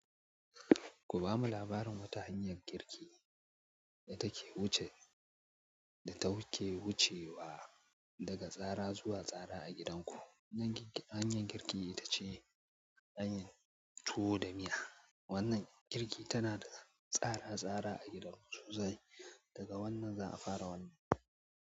Ku bamu labarin wata hanyar girki da take wucewa daga tsara zuwa tsara a gidanku. Hanyar girki ita ce hanyar tuwo da miya. Wannan girki ta nada tsara tsara a gidan mu sosai daga wannan za'a fara wannan.